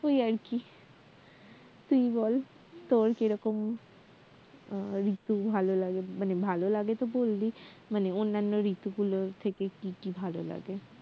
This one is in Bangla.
ওই আর কি তুই বল তোর কেরকম আহ ঋতু ভালোলাগে মানে ভালো লাগে তো বললি মানে অন্যান্য ঋতু গুলোর থেকে কি কি ভাল লাগে